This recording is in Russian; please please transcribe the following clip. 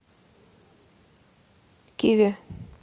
киви